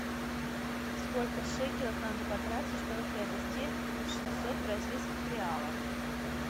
сколько шекелей надо потратить чтобы приобрести шестьсот бразильских реалов